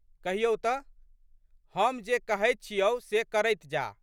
कहियौ तऽ? हम जे कहैत छियौ से करैत जाह।